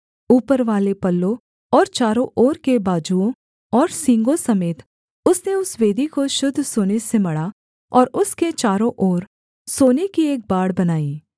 ऊपरवाले पल्लों और चारों ओर के बाजुओं और सींगों समेत उसने उस वेदी को शुद्ध सोने से मढ़ा और उसके चारों ओर सोने की एक बाड़ बनाई